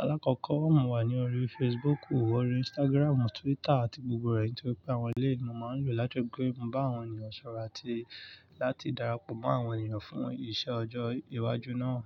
Alákọ̀kọ́, mo wà ní orí Facebook, orí Instagram, Twitter àti gbogbo rẹ̀. Nítorí pé àwọn élèyii ni mo máa ń lò láti ripé, mo bá àwọn ènìyàn sọ̀rọ̀ àti láti darapọ̀ mọ́ àwọn ènìyàn fún iṣẹ́ ọjọ́ iwájú náà.